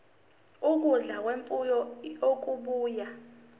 ukudla kwemfuyo okubuya